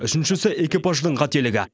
үшіншісі экипаждың қателігі